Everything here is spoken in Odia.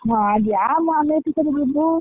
ହଁ, ଯାହେଲେ ଆମେ ଏଠି କେତେ ବୁଲୁ।